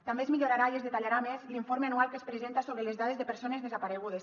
també es millorarà i es detallarà més l’informe anual que es presenta sobre les dades de persones desaparegudes